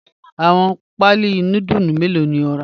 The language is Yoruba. Awọn paalí núdùlù mẹlọ̀ ni o ra?